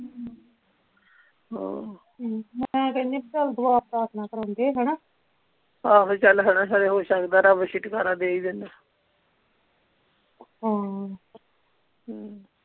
ਹਾਂ ਹਮ ਮੈਂ ਕਹਿਨੀ ਚੱਲ ਦੁਆ ਪ੍ਰਾਰਥਨਾ ਕਰਾਉਂਦੇ ਹਣਾ ਆਹੋ ਚੱਲ ਹਣਾ ਖਰੇ ਹੋ ਸਕਦਾ ਰੱਬ ਹਾਂ ਹਮ